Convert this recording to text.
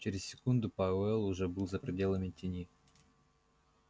через секунду пауэлл уже был за пределами тени